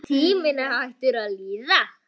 Tíminn hættur að líða.